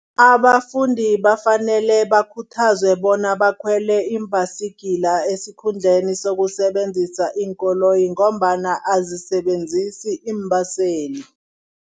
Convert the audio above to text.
Abafundi bafanele bakhuthazwe bona bakhwele iimbasigila esikhundleni sokusebenzisa iinkoloyi ngombana azisebenzisi iimbaseli.